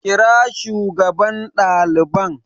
Kira shugaban daliban